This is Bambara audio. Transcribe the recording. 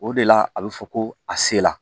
O de la a bɛ fɔ ko a se la